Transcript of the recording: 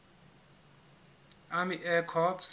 army air corps